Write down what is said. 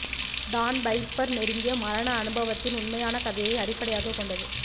Don Piper நெருங்கிய மரண அனுபவத்தின் உண்மையான கதையை அடிப்படையாகக் கொண்டது